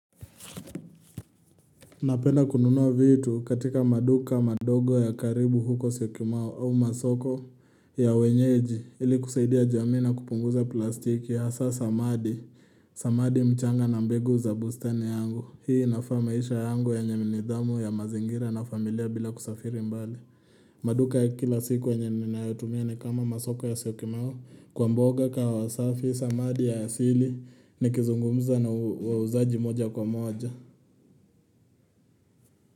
Napenda kununua vitu katika maduka madogo ya karibu huko Syokimau au masoko ya wenyeji ili kusaidia jamii na kupunguza plastiki hasa samadi, samadi, mchanga na mbegu za bustani yangu. Hii inafaa maisha yangu yenye nidhamu ya mazingira na familia bila kusafiri mbali. Maduka ya kila siku yenye ninayotumia ni kama masoko ya Syokimau kwa mboga, kahawa safi, samadi ya asili, nikizungumuza na wauzaji moja kwa moja.